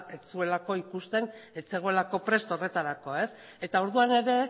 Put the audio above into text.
ez zuelako ikusten ez zegoelako prest horretarako eta orduan ere